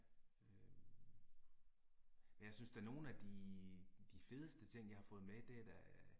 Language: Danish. Øh. Jeg synes da nogle af de de fedste ting jeg har fået med, det er da